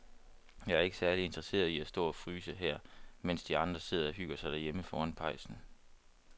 Jeg er ikke særlig interesseret i at stå og fryse her, mens de andre sidder og hygger sig derhjemme foran pejsen.